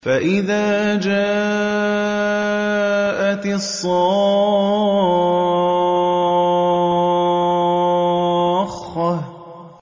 فَإِذَا جَاءَتِ الصَّاخَّةُ